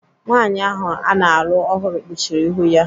Nwaanyị ahụ ana alụ ọhụrụ kpuchiri ihu ya.